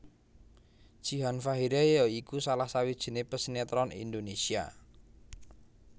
Jihan Fahira ya iku salah sawijiné pesinetron Indonésia